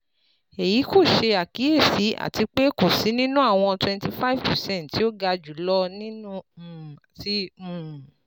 Eyi ko ṣe akiyesi ati pe ko si ninu awọn twenty five percent ti o ga julọ um ti um